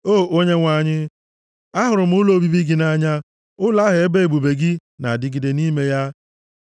O Onyenwe anyị, ahụrụ m ụlọ obibi gị nʼanya, ụlọ ahụ ebe ebube gị na-adịgide nʼime ya.